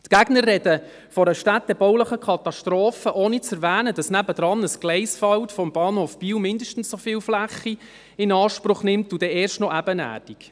Die Gegner sprechen von einer städtebaulichen Katastrophe, ohne zu erwähnen, dass nebenan ein Gleisfeld des Bahnhofs Biel mindestens so viel Fläche in Anspruch nimmt und das erst noch ebenerdig.